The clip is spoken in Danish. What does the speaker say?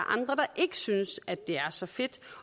andre der ikke synes det er så fedt